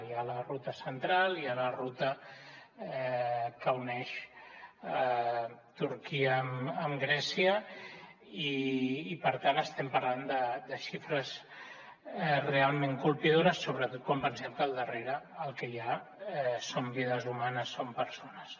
hi ha la ruta central hi ha la ruta que uneix turquia amb grècia i per tant estem parlant de xifres realment colpidores sobretot quan pensem que al darrere el que hi ha són vides humanes són persones